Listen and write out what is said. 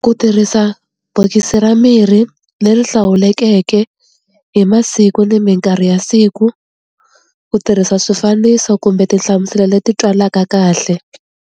Ku tirhisa bokisi ra mirhi leri hlawulekeke hi masiku ni minkarhi ya siku ku tirhisa swifaniso kumbe tinhlamuselo leti twalaka kahle.